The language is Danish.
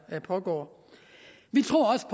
pågår vi tror også